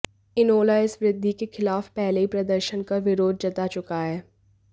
इनेलो इस वृद्घि के खिलाफ पहले ही प्रदर्शन कर विरोध जता चुका है